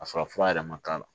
A sɔrɔ fura yɛrɛ ma k'a la